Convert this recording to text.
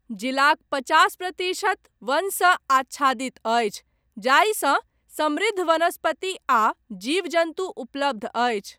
जिलाक पचास प्रतिशत वनसँ आच्छादित अछि, जाहिसँ समृद्ध वनस्पति आ जीव जन्तु उपलब्ध अछि।